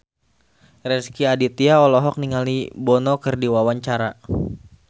Rezky Aditya olohok ningali Bono keur diwawancara